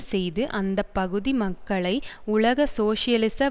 செய்து அந்த பகுதி மக்களை உலக சோசியலிச